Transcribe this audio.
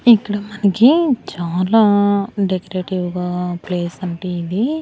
ఇక్కడ మనకి చాలా డెకరేటివ్గా ప్లేస్ అంటే ఇది.